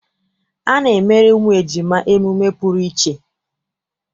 A na-emere ụmụ ejima emume pụrụ iche.